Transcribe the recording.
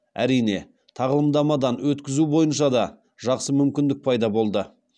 әрине тағылымдамадан өткізу бойынша да жақсы мүмкіндік пайда болды